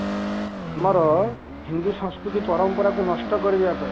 ଆମର ହିନ୍ଦୁ ସଂସ୍କୃତି ପରମ୍ପରାକୁ ନଷ୍ଟ କରିଦେବା ପାଇଁ